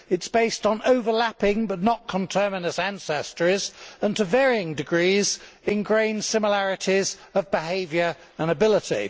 It is based on overlapping but not conterminous ancestries and, to varying degrees, engrained similarities of behaviour and ability.